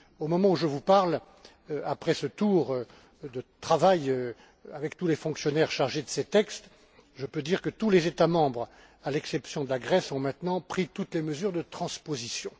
Au moment où je vous parle, après ce tour de travail avec tous les fonctionnaires chargés de ces textes, je peux dire que tous les États membres, à l'exception de la Grèce, ont maintenant pris toutes les mesures de transposition.